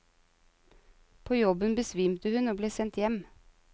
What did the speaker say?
På jobben besvimte hun og ble sendt hjem.